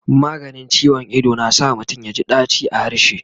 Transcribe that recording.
maganin ciwon Ido na sa mutum yaji daci a harshe